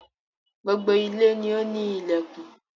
Gbogbo ilé ni o ni ilẹkùn.